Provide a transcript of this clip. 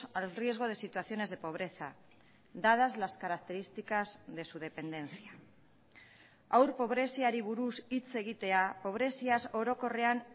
al riesgo de situaciones de pobreza dadas las características de su dependencia haur pobreziari buruz hitz egitea pobreziaz orokorrean